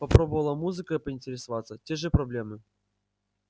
попробовала музыкой поинтересоваться те же проблемы